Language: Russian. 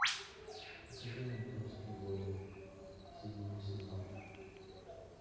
покажи ментовские войны седьмой сезон